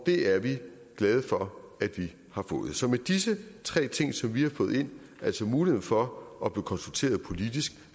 det er vi glade for at vi har fået så med disse tre ting som vi har fået ind altså muligheden for at blive konsulteret politisk